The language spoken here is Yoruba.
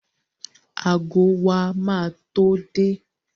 Ago wa ma tó dé